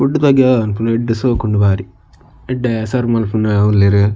Food ಬಗ್ಗೆ ಪನ್ಪುನ ಎಡ್ಡೆ ಶೊಕುಂಡು ಬಾರಿ ಎಡ್ಡೆ ಸರ್ವ್ ಮನ್ಪುನಾ ಉಲ್ಲೆರ್.